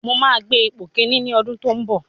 Mo máa gbé ipò kíní ní ọdún tó ń bọ̀.